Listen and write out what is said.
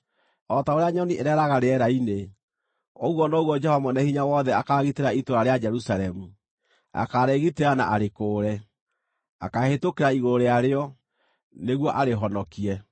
O ta ũrĩa nyoni ĩreeraga rĩera-inĩ, ũguo noguo Jehova Mwene-Hinya-Wothe akaagitĩra itũũra rĩa Jerusalemu; akaarĩgitĩra na arĩkũũre, ‘akaahĩtũkĩra igũrũ rĩa rĩo’ nĩguo arĩhonokie.”